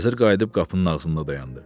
Vəzir qayıdıb qapının ağzında dayandı.